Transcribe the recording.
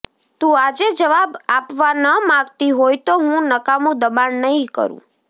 તું આજે જવાબ આપવા ન માગતી હોય તો હું નકામું દબાણ નહીં કરું